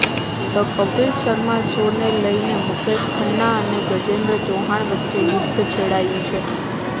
the Kapil Sharma શોને લઈને મુકેશ ખન્ના અને ગજેન્દ્ર ચૌહાણ વચ્ચે યુદ્ધ છેડાયું છે